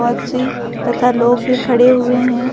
बच्चे तथा लोग भी खड़े हुए हैं।